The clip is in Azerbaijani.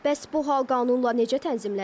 Bəs bu hal qanunla necə tənzimlənib?